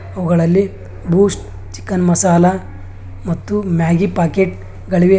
ಇವುಗಳಲ್ಲಿ Boost chicken masala ಮತ್ತು Maggi packet ಗಳಿವೆ.